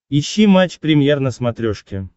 ищи матч премьер на смотрешке